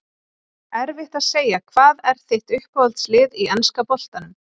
Erfitt að segja Hvað er þitt uppáhalds lið í enska boltanum?